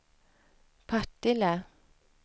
Partille